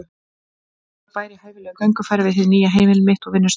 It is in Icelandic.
Notalegur bær í hæfilegu göngufæri við hið nýja heimili mitt og vinnustað.